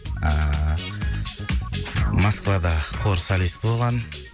ыыы москвада хор солист болған